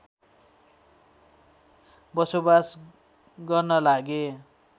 बसोबास गर्न लागे